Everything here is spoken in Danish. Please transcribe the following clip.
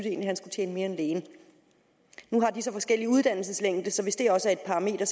egentlig han skulle tjene mere end lægen nu har de så forskellig uddannelseslængde så hvis det også er et parameter